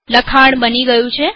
લખાણ બની ગયું છે